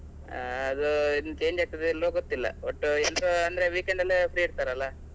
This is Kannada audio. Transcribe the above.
ಹಾ ಅದು ಇನ್ನು change ಆಗ್ತದಾ ಇಲ್ವೋ ಗೊತ್ತಿಲ್ಲ. ಒಟ್ಟು ಎಂಟು ಅಂದ್ರೆ weekend ಎಲ್ಲಾ free ಇರ್ತಾರಲ್ಲ.